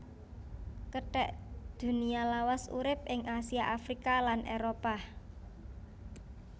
Kethek Dunia lawas urip ing Asia Afrika lan Éropah